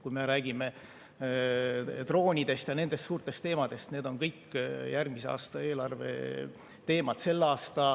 Kui me räägime droonidest ja nendest suurtest teemadest, need on kõik järgmise aasta eelarve teemad.